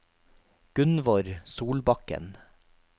Gunnvor Solbakken